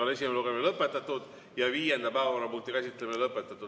Esimene lugemine on lõpetatud ja viienda päevakorrapunkti käsitlemine on ka lõpetatud.